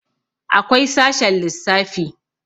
akwai sashen lissafi